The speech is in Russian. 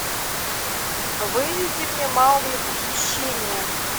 выведи мне маугли похищение